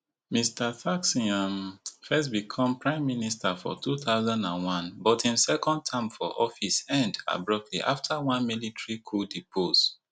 mr thaksin um first become prime minister for two thousand and one but im second term for office end abruptly afta one military coup depose